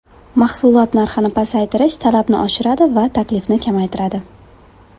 Mahsulot narxini pasaytirish talabni oshiradi va taklifni kamaytiradi.